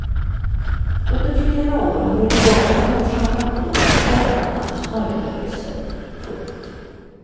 Under flera år har huliganerna orsakat bråk och omfattande skadegörelse. punkt